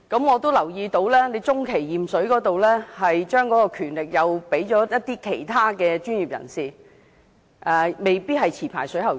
我留意到，當局將中期驗水交由其他專業人士負責，未必一定委派持牌水喉匠。